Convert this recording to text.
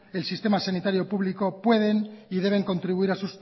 el sistema sanitario público pueden y deben contribuir a